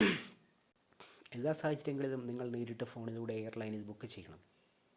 എല്ലാ സാഹചര്യങ്ങളിലും നിങ്ങൾ നേരിട്ട് ഫോണിലൂടെ എയർലൈനിൽ ബുക്ക് ചെയ്യണം